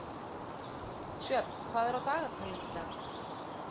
Sjöfn, hvað er á dagatalinu í dag?